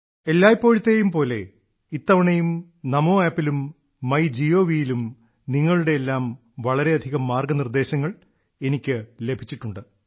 എല്ലായ്പ്പോഴത്തെയും പോലെ ഇത്തവണയും നമോ ആപ്പിലും മൈ ജി ഒ വിയിലും നിങ്ങളുടെയെല്ലാം വളരെയധികം മാർഗ്ഗനിർദ്ദേശങ്ങൾ എനിക്കു ലഭിച്ചിട്ടുണ്ട്